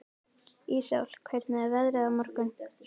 Íssól, hvernig er veðrið á morgun?